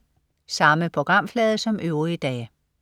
Samme programflade som øvrige dage